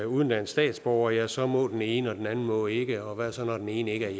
udenlandsk statsborger ja så må den ene og den anden må ikke og hvad så når den ene ikke